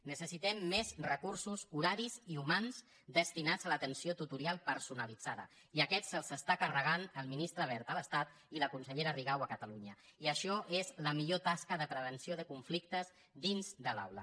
necessitem més recursos horaris i humans destinats a l’atenció tutorial personalitzada i aquests se’ls està carregant el ministre wert a l’estat i la consellera rigau a catalunya i això és la millor tasca de prevenció de conflictes dins de l’aula